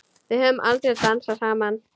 Við höfum aldrei dansað saman.